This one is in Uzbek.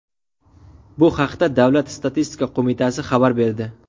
Bu haqda Davlat statistika qo‘mitasi xabar berdi.